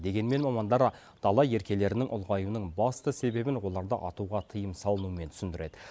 дегенмен мамандар дала еркелерінің ұлғаюының басты себебін оларды атуға тыйым салынумен түсіндіреді